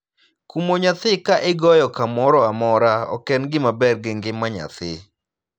Kumo nyathi ka igoyo kamoro amora ok en gima ber gi ngima nyathi.